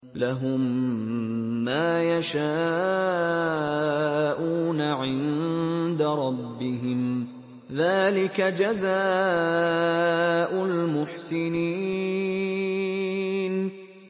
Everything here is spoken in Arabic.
لَهُم مَّا يَشَاءُونَ عِندَ رَبِّهِمْ ۚ ذَٰلِكَ جَزَاءُ الْمُحْسِنِينَ